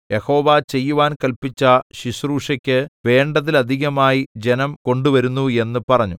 യഹോവ ചെയ്യുവാൻ കല്പിച്ച ശുശ്രൂഷയ്ക്ക് വേണ്ടതിലധികമായി ജനം കൊണ്ടുവരുന്നു എന്ന് പറഞ്ഞു